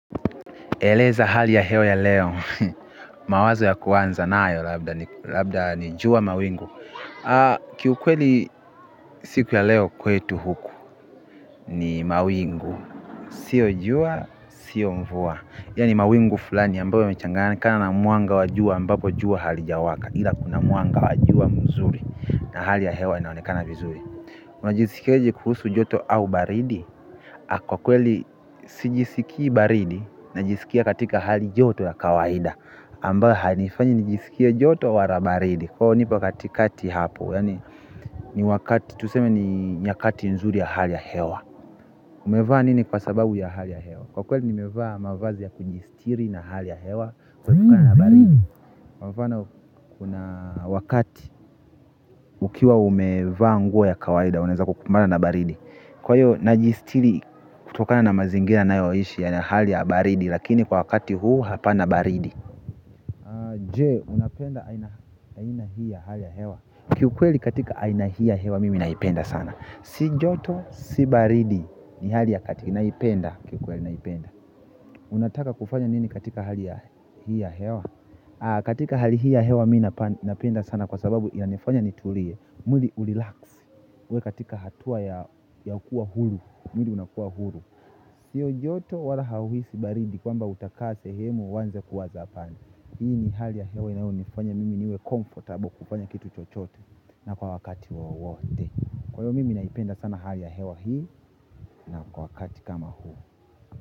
Eleza hali ya hewa ya leo, mawazo ya kuanza nayo, labda ni jua mawingu. Kiukweli siku ya leo kwetu huku, ni mawingu. Sio jua, sio mvua. Ya ni mawingu fulani ambayo yamechanganyikana na mwanga wa jua ambapo jua halijawaka. Ila kuna mwanga wajua mzuri, na hali ya hewa inaonekana vizuri. Unajisikiaje kuhusu joto au baridi. Kwa kweli si jisikii baridi na jisikia katika hali joto ya kawaida ambayo hainifanyi nijisikie joto wala baridi kwa hiyo nipo katikati hapo yani ni wakati tuseme ni nyakati nzuri ya hali ya hewa umevaa nini kwa sababu ya hali ya hewa kwa kweli nimevaa mavazi ya kujistiri na hali ya hewa kutokana na baridi kwa mfano kuna wakati ukiwa umevaa nguo ya kawaida unaweza kukumbana na baridi kwa hiyo najistiri kutokana na mazingira nayoishi ya hali ya baridi lakini kwa wakati huu hapana baridi. Je unapenda aina hii ya hali ya hewa. Kiu kweli katika aina hii ya hewa mimi naipenda sana. Sijoto si baridi ni hali ya kati naipenda. Kiu kweli naipenda unataka kufanya nini katika hali hii ya hewa katika hali hii ya hewa mimi napenda sana kwa sababu ya nifanya nitulie mwili u-relax uwe katika hatua ya kuwa huru, mwili unakuwa huru. Siyo joto wala hauhisi baridi kwamba utakaa sehemu uanze kuwaza hapana. Hii ni hali ya hewa inayo nifanya mimi niwe comfortable kufanya kitu chochote na kwa wakati wowote kwa hiyo mimi naipenda sana hali ya hewa hii na kwa wakati kama huu.